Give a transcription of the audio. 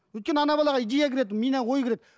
өйткені ана балаға идея кіреді миына ой кіреді